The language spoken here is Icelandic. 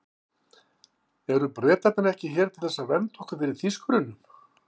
Eru Bretarnir ekki hér til þess að vernda okkur fyrir Þýskurunum?